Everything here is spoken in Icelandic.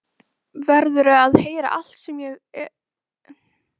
Verður að heyra allt sem ég þarf að segja.